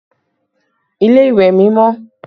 Ilé ìwẹ̀ mi mọ́